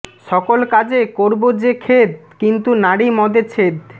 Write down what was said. সকল কাজে করব যে খেদ কিন্তু নারি মদে ছেদ